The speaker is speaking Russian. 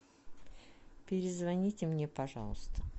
перезвоните мне пожалуйста